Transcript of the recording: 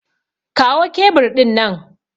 Kawo kebur ɗin nan!